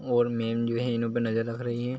और मेम जो है इन लोग पर नज़र रख रही है।